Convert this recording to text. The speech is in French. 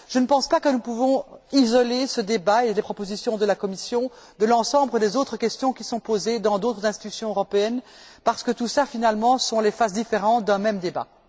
Je ne pense pas que nous puissions isoler ce débat sur les propositions de la Commission de l'ensemble des autres questions qui sont posées dans d'autres institutions européennes parce que ce sont, finalement, les différentes phases d'un même débat.